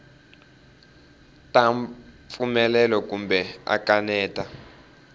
ta pfumela kumbe a kaneta